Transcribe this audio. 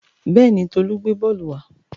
Bẹ́ẹ̀ni, Tolú gbé bọ́ọ́lù wa.